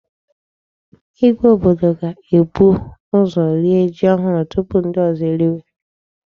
Ìgwè obodo ga-ebu ụzọ rie ji ohụrụ tupu ndị ozo eriwe.